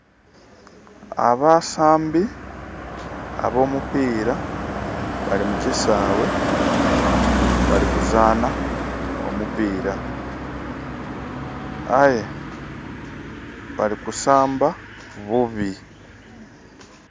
Abasambi abo mupiira bali mu kisaawe bali kuzaanha omupiira. Aye bali kusamba bubi